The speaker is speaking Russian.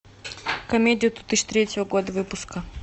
комедия две тысячи третьего года выпуска